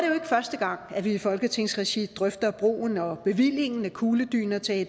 første gang at vi i folketingsregi drøfter brugen og bevillingen af kugledyner til